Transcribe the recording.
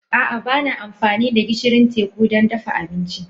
A'a, ba na amfani da gishirin teku don dafa abinci.